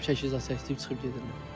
Gəlib çəkiliş zad çəkdirib çıxıb gedirlər.